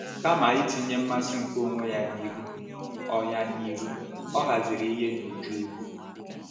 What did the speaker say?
Kama itinye mmasị nke onwe ya n’ihu, ọ ya n’ihu, ọ haziri ihe n’uju udo.